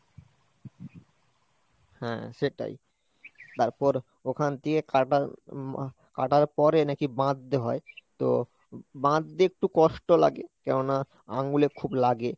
হ্যাঁ সেটাই তারপর ওখান দিয়ে কাটার উম কাটার পরে নাকি বাঁধতে হয়, তো বাঁধতে একটু কষ্ট লাগে কেননা আঙুলে খুব লাগে।